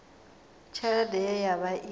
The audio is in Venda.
tshelede ye ya vha i